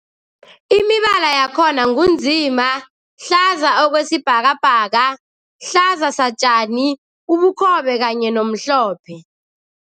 Imibala yakhona ngu nzima, hlaza okwesibhakabhaka, hlaza satjani, ubukhobe kanye nomhlophe.